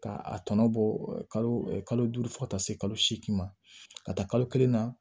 K'a tɔnɔ bɔ kalo duuru fo ka taa se kalo segin ma ka taa kalo kelen na